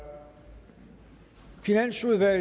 sluttet jeg